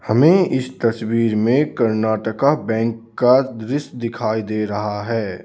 हमें इस तस्वीर में कर्नाटका बैंक का दृश्य दिखाई दे रहा है.